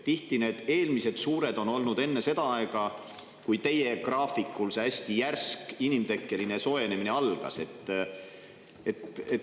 Tihti on need varasemad toimunud enne seda aega, kui teie graafiku järgi see hästi järsk inimtekkeline soojenemine algas.